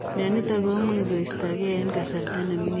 Mionitok komuch koistoo gei eng kasarta nemining anan kotebii agoi eng